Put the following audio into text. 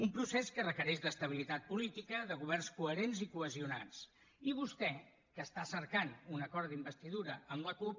un procés que requereix estabilitat política governs coherents i cohesionats i vostè que està cercant un acord d’investidura amb la cup